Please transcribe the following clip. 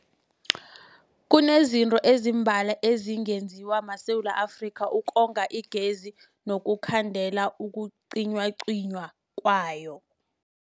Kunezinto ezimbalwa ezingenziwa maSewula Afrika ukonga igezi nokukhandela ukucinywacinywa kwayo.